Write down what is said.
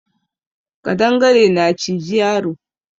Ƙadangare na ciji yaro